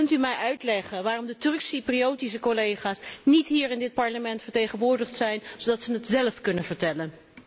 Kunt u mij uitleggen waarom de Turks Cypriotische collega's niet hier in dit Parlement vertegenwoordigd zijn, zodat ze dat zelf kunnen vertellen?